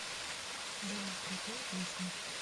джой крутые песни